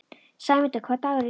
Sæmunda, hvaða dagur er í dag?